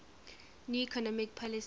new economic policy